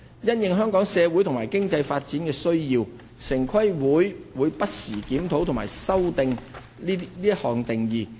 因應香港社會及經濟發展需要，城規會會不時檢討及修訂這項定義。